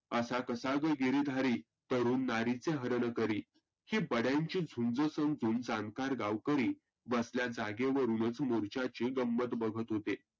असा कसा तो गिरीधारी तरुण नारीचे हरण करी. जी बड्यांची झुंज संपवून जानकार गावकरी बसल्या जागेवरुनच मोर्चाची गंमत बघत होते.